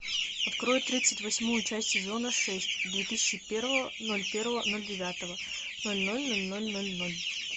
открой тридцать восьмую часть сезона шесть две тысячи первого ноль первого ноль девятого ноль ноль ноль ноль ноль ноль